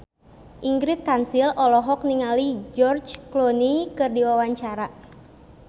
Ingrid Kansil olohok ningali George Clooney keur diwawancara